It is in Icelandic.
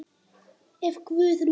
Ef Guð lofar.